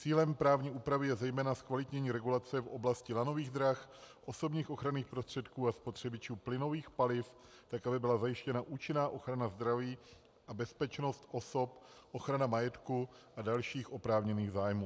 Cílem právní úpravy je zejména zkvalitnění regulace v oblasti lanových drah, osobních ochranných prostředků a spotřebičů plynových paliv tak, aby byla zajištěna účinná ochrana zdraví a bezpečnost osob, ochrana majetku a dalších oprávněných zájmů.